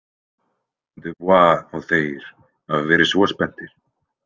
Dubois og þeir hafa verið svo spenntir.